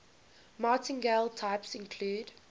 martingale types include